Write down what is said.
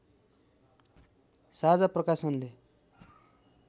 साझा प्रकाशनले